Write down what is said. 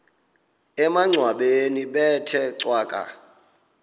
emangcwabeni bethe cwaka